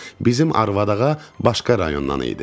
Bizim arvad ağa başqa rayondan idi.